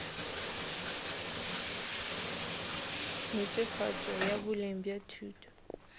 netefatšo ya boleng ya thuto